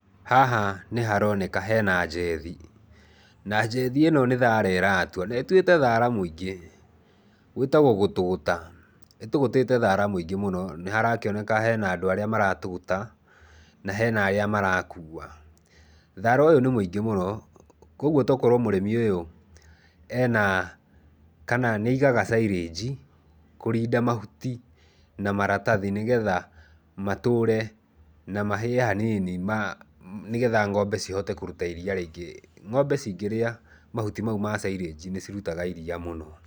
Haha nĩ haroneka hena njethi, na njethi ĩno nĩ thaara ĩratua, na ĩtuĩte thaara mũingĩ. Gwĩtagwo gũtũgũta, ĩtũgũtĩte thara mũingĩ mũno. Nĩ harakĩoneka hena andũ arĩa maratũgũta, na hena arĩa marakua. Thaara ũyũ nĩ mũingĩ mũno, kwoguo to korwo mũrĩmĩ ũyũ ena, kana nĩ aigaga silage, kũrinda mahuti na maratathi nĩgetha matũre na mahĩe hanini, nĩgetha ng'ombe cihote kũruta iria rĩingĩ. Ng'ombe cingĩria mahuti mau ma silage nĩ cirutaga iria mũno.